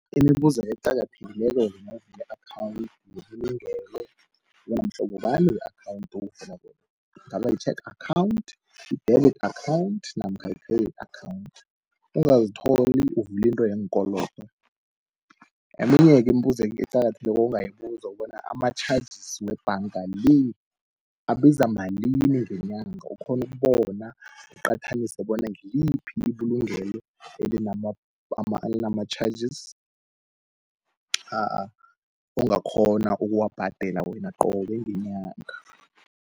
Imibuzo eqakathekileko yokuvuli akhawunti yebulungele, bona mhlobobani we-akhawunti owuvulako. Ingaba yitjhege akhawunti, bele akhawunti namkha yi-akhawunti, ungaztholi uvulintwe yeenkolodo. Eminye-ke imbuzi eqakathekileko ongayibuza bona amatjhajisi webhanga le, abiza malini ngenyanga, ukghonukubona uqathanise bona ngiyiphi ibulungelo elinamatjhajisi ongakghona ukuwabhadela wena qobe ngenyanga.